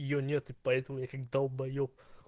её нет и поэтому я как долбаеб